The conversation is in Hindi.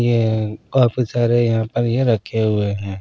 ये काफी सारे यहां पर ये रखे हुए हैं।